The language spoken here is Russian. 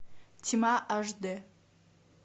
тьма аш дэ